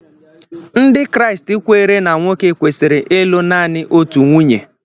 Ndị Kraịst kweere na nwoke kwesịrị ịlụ naanị otu nwunye.